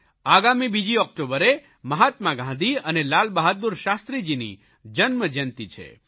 આગામી બીજી ઓકટોબર મહાત્મા ગાંધી અને લાલબહાદૂર શાસ્ત્રીજીની જન્મજયંતી છે